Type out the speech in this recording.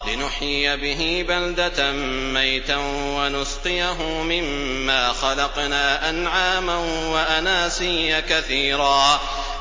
لِّنُحْيِيَ بِهِ بَلْدَةً مَّيْتًا وَنُسْقِيَهُ مِمَّا خَلَقْنَا أَنْعَامًا وَأَنَاسِيَّ كَثِيرًا